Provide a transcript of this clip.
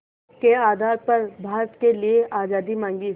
के आधार पर भारत के लिए आज़ादी मांगी